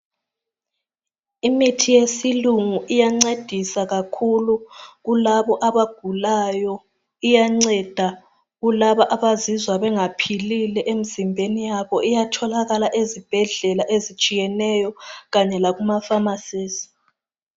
Imithi yesilungu iyancedisa kakhulu kulabo abagulayo iyanceda kulabo abazizwa bengaphilile kahle emzimbeni yabo iyatholakala ezibhedlela ezitshiyeneyo kanye lakuma famasi.